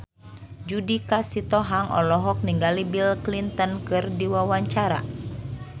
Judika Sitohang olohok ningali Bill Clinton keur diwawancara